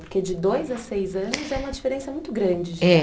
Porque de dois a seis anos é uma diferença muito grande. É